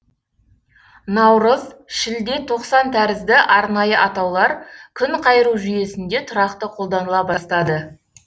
наурыз шілде тоқсан тәрізді арнайы атаулар күнқайыру жүйесінде тұрақты қолданыла бастады